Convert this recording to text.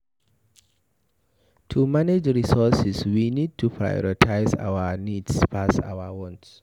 To manage resources we need to prioritize our needs pass our want